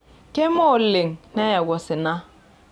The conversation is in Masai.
Keme oleng' neyau osina.